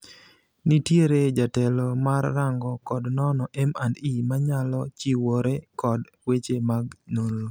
Nitiere jatelo mar rango kod nono (M&E) manyalo chiwore kod weche mag nonro.